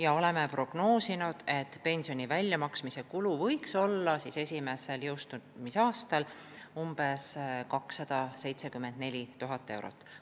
Me oleme prognoosinud, et pensionide väljamaksmise kulu võiks esimesel jõustumisaastal olla umbes 274 000 eurot.